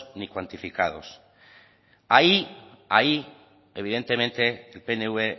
ni cuantificados ahí evidentemente el pnv